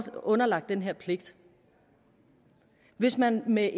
underlagt den her pligt hvis man med